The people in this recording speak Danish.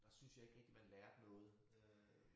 Der syntes jeg ikke rigtig man lærte noget øh